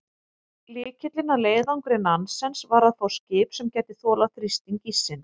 Lykillinn að leiðangri Nansens var að fá skip sem gæti þolað þrýsting íssins.